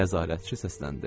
Nəzarətçi səsləndi.